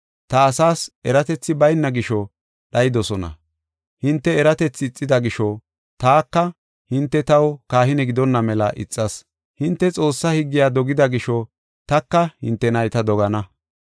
Ta asaas eratethi bayna gisho dhayidosona. Hinte eratethi ixida gisho, taka hinte taw kahine gidonna mela ixas. Hinte Xoossaa higgiya dogida gisho, taka hinte nayta dogana.